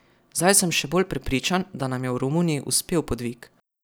Zdaj sem še bolj prepričan, da nam je v Romuniji uspel podvig.